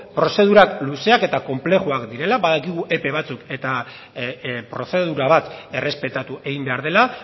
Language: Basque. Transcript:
prozedurak luzeak eta konplexuak direla badakigu epe batzuk eta prozedura bat errespetatu egin behar dela